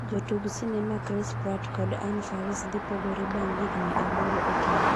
Jotug Sinema Chris Pratt kod Anna Faris dhii pogore bang' higni aboro e keny.